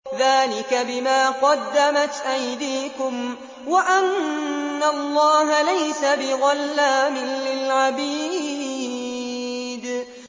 ذَٰلِكَ بِمَا قَدَّمَتْ أَيْدِيكُمْ وَأَنَّ اللَّهَ لَيْسَ بِظَلَّامٍ لِّلْعَبِيدِ